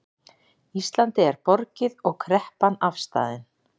Íslandi er borgið og kreppan afstaðin